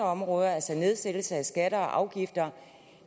område altså en nedsættelse af skatter og afgifter